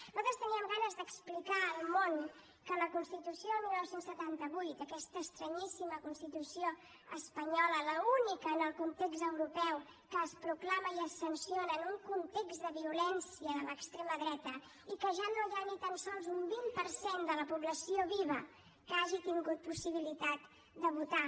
nosaltres teníem ganes d’explicar al món que la constitució del dinou setanta vuit aquesta estranyíssima constitució espanyola l’única en el context europeu que es proclama i es sanciona en un context de violència de l’extrema dreta i que ja no hi ha ni tan sols un vint per cent de la població viva que hagi tingut possibilitat de votar